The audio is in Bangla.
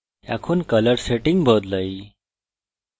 এখন colour সেটিং বদলাই